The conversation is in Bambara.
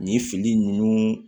Nin fili ninnu